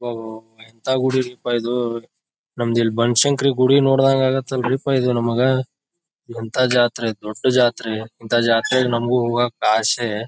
ಅಬಬಬಬಬಾ ಎಂತ ಗುಡಿ ರಿಪ್ಪ ಇದು ನಮ್ಗೆ ಇಲ್ ಬನಶಂಕರಿ ಗುಡಿ ನೋಡಿದಂಗ ಆಗ್ತಾತ ರೀ ಪ್ಪಾ ಇದು ನಮ್ಗ ಎಂತ ಜಾತ್ರಿ ದೊಡ್ಡ್ ಜಾತ್ರಿ ಇಂತ ಜಾತ್ರಿಗೆ ನಮಗೂ ಹೋಗಕ್ಕ ಆಸೆ.